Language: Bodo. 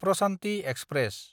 प्रसान्ति एक्सप्रेस